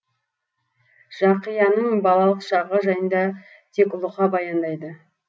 жақияның балалық шағы жайында тек лұқа баяндайды